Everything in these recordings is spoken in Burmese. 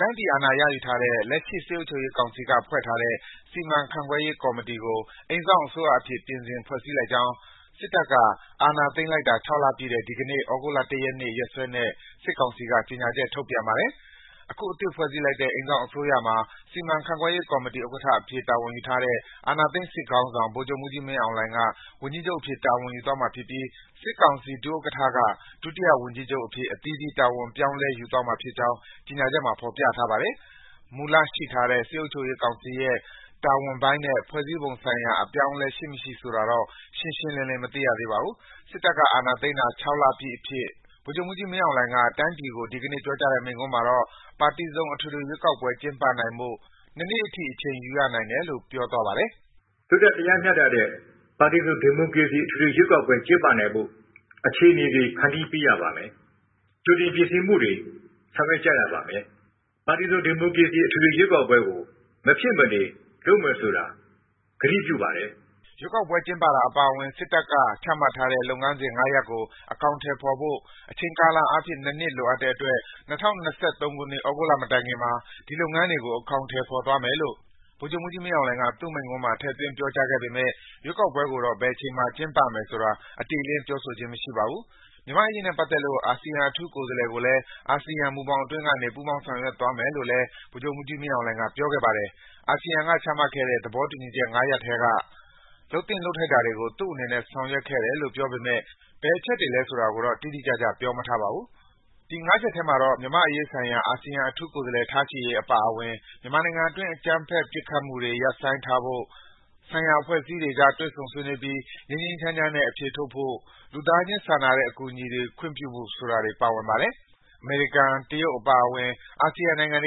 တိုင်းပြည်အာဏာရယူထားတဲ့ လက်ရှိ စစ်အုပ်ချုပ်ရေးကောင်စီက ဖွဲ့ထားတဲ့ စီမံခန့်ခွဲရေးကော်မတီကို အိမ်စောင့်အစိုးရအဖြစ် ပြင်ဆင် ဖွဲ့စည်းလိုက်ကြောင်း စစ်တပ်က အာဏာသိမ်းလိုက်တာ ၆ လပြည့်တဲ့ ဒီကနေ့ သြဂုတ်လ ၁ ရက်နေ့ ရက်စွဲနဲ့ စစ်ကောင်စီက ကြေညာချက်ထုတ်ပြန်ပါတယ်။ အခု အသစ်ဖွဲ့စည်းလိုက်တဲ့ အိမ်စောင့်အစိုးရမှာ စီမံခန့်ခွဲရေးကော်မတီဥက္ကဋ္ဌအဖြစ် တာဝန်ယူထားတဲ့ အာဏာသိမ်းစစ်ခေါင်းဆောင် ဗိုလ်ချုပ်မှူးကြီး မင်းအောင်လှိုင်က ဝန်ကြီးချုပ်အဖြစ် တာဝန်ယူသွားမှာဖြစ်ပြီး စစ်ကောင်စီ ဒုဥက္ကဋ္ဌ၊ ဒုတိယဝန်ကြီးချုပ်အဖြစ် အသီးသီး တာဝန်တွေ ပြောင်းလဲ ယူသွားကြမှာ ဖြစ်ကြောင်း ကြေညာချက်မှာ ဖော်ပြထားပါတယ်။ မူလရှိထားတဲ့ စစ်အုပ်ချုပ်ရေးကောင်စီရဲ့ တာဝန်ပိုင်းနဲ့ ဖွဲ့စည်းပုံဆိုင်ရာအပြောင်းအလဲရှိမရှိဆိုတာတော့ ရှင်းရှင်းလင်းလင်းမသိရသေးပါဘူး။ စစ်တပ်က အာဏာသိမ်းတာ ၆ လ ပြည့်အဖြစ် ဗိုလ်ချုပ်မှူးကြီး မင်းအောင်လှိုင်က တိုင်းပြည်ကို ဒီကနေ့ ပြောကြားတဲ့ မိန့်ခွန်းမှာတော့ပါတီစုံအထွေထွေရွေးကောက်ပွဲ ကျင်းပနိုင်ဖို့ နှစ်နှစ်အထိ အချိန်ယူရနိုင်တယ်လို့ ပြောသွားပါတယ်။ “လွတ်လပ်တရားမျှတတဲ့ ပါတီစုံဒီမိုကရေစီအထွေထွေ ရွေးကောက်ပွဲကျင်းပနိုင်ဖို့ အခြေအနေတွေ ဖန်တီးပေးရပါမယ်။ ကြိုတင်ပြင်ဆင်မှုတွေ ဆောင်ရွက်ကြရပါမယ်။ ပါတီစုံဒီမိုကရေစီအထွေထွေရွေးကောက်ပွဲကို မဖြစ်မနေလုပ်မယ်ဆိုတာ ကတိပြုပါတယ်။” ရွေးကောက်ပွဲ ကျင်းပတာအပါအဝင် စစ်တပ်က ချမှတ်ထားတဲ့ လုပ်ငန်းစဉ် ၅ ရပ်ကို အကောင်အထည်ဖော်ဖို့ အချိန်ကာလအားဖြင့် ၂ နှစ် လိုအပ်တဲ့အတွက် ၂၀၂၃ ခုနှစ်၊ သြဂုတ်လမတိုင်ခင်မှာ အဲဒီလုပ်ငန်းစဉ်တွေကို အကောင်အထည်ဖော်သွားမယ်လို့ ဗိုလ်ချုပ်မှူးကြီး မင်းအောင်လှိုင်က သူ့မိန့်ခွန်းမှာ ထည့်သွင်း ပြောကြားခဲ့ပေမယ့် ရွေးကောက်ပွဲကိုတော့ ဘယ်အချိန်မှာ ကျင်းပမယ်ဆိုတာ အတိအလင်း ပြောဆိုခြင်း မရှိပါဘူး။ မြန်မာ့အရေးနဲ့ပတ်သက်လို့ အာဆီယံအထူးကိုယ်စားလှယ်ကိုလည်း အာဆီယံမူဘောင်အတွင်းကနေ ပူးပေါင်းဆောင်ရွက်သွားမယ်လို့လည်း ဗိုလ်ချုပ်မှုးကြီးမင်းအောင်လှိုင်က ပြောခဲ့ပါတယ်။ အာဆီယံကချမှတ်ခဲ့တဲ့ သဘောတူညီချက် ၅ ရပ်ထဲက လုပ်သင့်လုပ်ထိုက်တာတွေကို သူ့အနေနဲ့ ဆောင်ရွက်ခဲ့တယ်လို့ ပြောပေမယ့်၊ ဘယ်အချက်တွေလည်းဆိုတာကိုတော့ တိတိကျကျ ပြောမထားပါဘူး။ ဒီ ၅ ချက်ထဲမှာတော့ မြန်မာ့အရေးဆိုင်ရာအာဆီယံအထူးကိုယ်စားလှယ်ထားရှိရေးအပါအဝင် မြန်မာနိုင်ငံတွင်းအကြမ်းဖက်ပစ်ခတ်မှုတွေရပ်ဆိုင်းထားဖို့၊ ဆိုင်ရာအဖွဲ့အစည်းတွေအကြားတွေ့ဆုံဆွေးနွေးပြီး ငြိမ်းငြိမ်းချမ်းချမ်းနဲ့အဖြေထုတ်ဖို့၊ လူသားချင်းစာနာကူညီမှုတွေခွင့်ပြုဖို့ဆိုတာတွေ ပါဝင်ပါတယ်။ အမေရိကန် တရုတ်အပါအဝင် နိုင်ငံတ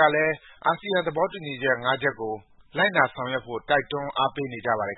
ကာကလည်း အာဆီယံ သဘောတူညီချက်၅ချက်ကို လိုက်နာဆောင်ရွက်ဖို့ တွန်းအားပေးနေပါတယ်